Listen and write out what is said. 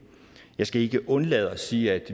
jeg skal ikke undlade at sige at